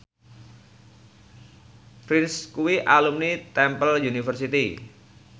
Prince kuwi alumni Temple University